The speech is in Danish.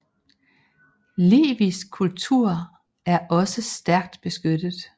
Livisk kultur er også stærkt beskyttet